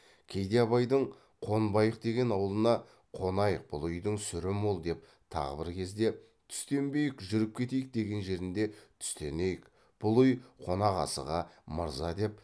кейде абайдың қонбайық деген аулына қонайық бұл үйдің сүрі мол деп тағы бір кезде түстенбейік жүріп кетейік деген жерінде түстенейік бұл үй қонақасыға мырза деп